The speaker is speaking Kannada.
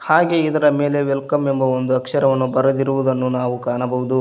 ಹಾಗೆ ಇದರ ಮೇಲೆ ವೆಲ್ಕಮ್ ಎಂದು ಬರೆದಿರುವ ಅಕ್ಷರವನ್ನು ನಾವು ಕಾಣಬಹುದು.